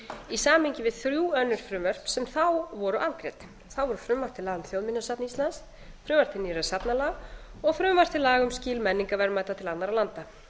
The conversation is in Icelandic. í samhengi við þrjú önnur frumvörp sem þá voru afgreidd það voru frumvarp til laga um þjóðminjasafn íslands frumvarp til nýrra safnalaga og frumvarp til laga um skil menningarverðmæta til annarra landa